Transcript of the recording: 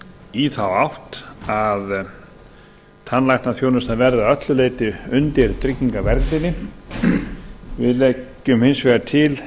í þá átt að tannlæknaþjónustan verði að eru leyti undir tryggingaverndinni við leggjum hins vegar til